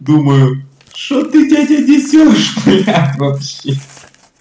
думаю что ты дядя несёшь блядь вообще